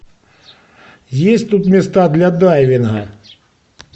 есть тут места для дайвинга